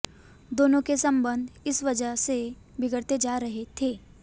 दोनों के संबंध इस वजह से बिगड़ते जा रहे थे